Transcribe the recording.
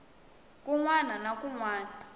kun wana na kun wana